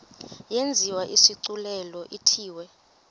yenziwe isigculelo ithiwe